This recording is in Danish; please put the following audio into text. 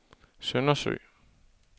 Søndersø